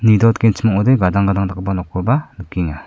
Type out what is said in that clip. nidoatgenchim ong·ode gadang gadang dakgipa nokkoba nikenga.